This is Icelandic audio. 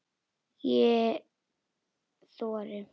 Ef ég þori.